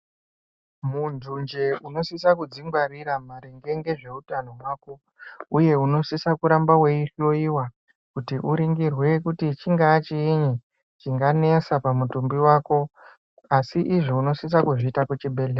Muntu njee unosisa kuzvingwariraaringe ngezveutano hwako uye unosisa kuramba waihloyiwa kuti uningirwe kuti chingaa chiinyi chinganesa pamutumbi hwako asi izvii unosisa kuzviita kuchibhedhleya.